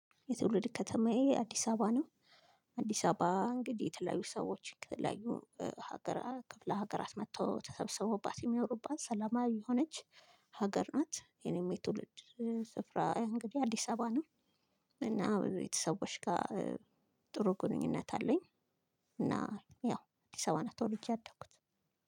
የትውልድ ከተማዬ አዲስ አበባ ነው። አዲስ አበባ እንግዲህ የተለያዩ ሰዎች ከተለያዩ ሀገር ክፍለ ሀገራት መጥቶ ተሰብስቦባት የሚያወሩባት ሰላማዊ የሆነች ሀገር ናት። የኔም የትውልድ ስፍራ እንግዲህ አዲስ አበባ ነው። እና ቤተሰቦች ጋር ጥሩ ግንኙነት አለኝ። እና ያው እዲስ አበባ ነው ተወልጄ ያደኩት